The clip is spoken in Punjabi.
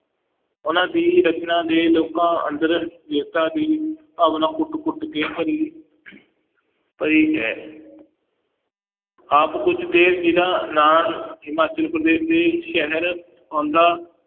ਉਹਨਾਂ ਦੀ ਰਚਨਾ ਦੇ ਲੋਕਾਂ ਅੰਦਰ ਵੀਰਤਾ ਦੀ ਭਾਵਨਾ ਕੁੱਟ ਕੁੱਟ ਕੇ ਭਰੀ ਭਰੀ ਹੈ ਆਪ ਕੁੱਝ ਦੇ ਜਿੰਨਾਂ ਨਾਲ ਹਿਮਾਚਲ ਪ੍ਰਦੇਸ਼ ਦੇ ਸ਼ਹਿਰ ਆਉਂਦਾ